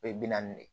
O ye bi naani de ye